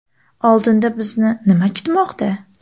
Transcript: Oldinda bizni nim a kutmoqda?